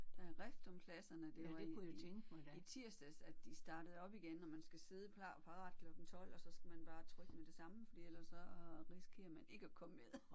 Der er rift om pladserne. Det var i i tirsdags at de startede op igen og man skal sidde klar og parat klokken 12 og så skal man bare trykke med det samme fordi ellers så risikerer man ikke at komme med